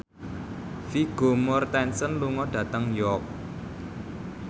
Vigo Mortensen lunga dhateng York